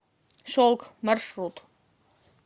шелк маршрут